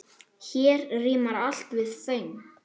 Hér rímar allt við föng.